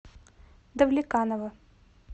давлеканово